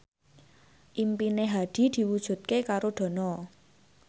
impine Hadi diwujudke karo Dono